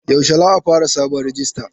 Yaushe za a fara sabon rijista?